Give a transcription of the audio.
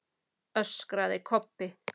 öskraði Kobbi.